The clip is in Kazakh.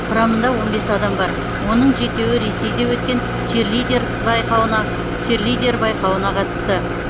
құрамында он бес адам бар оның жетеуі ресейде өткен черлидер байқауына черлидер байқауына қатысты